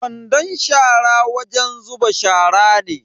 Kwandon shara wajen zuba shara ne.